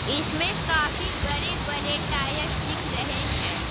इसमें काफी बड़े-बड़े टायर्स दिख रहे हैं।